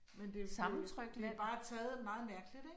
Men det det det bare taget meget mærkeligt, ik